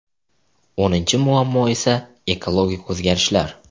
O‘ninchi muammo esa ekologik o‘zgarishlar.